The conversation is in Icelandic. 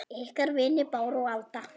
Ykkar vinir Bára og Alda.